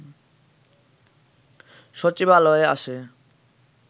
সচিবালয়ে আসে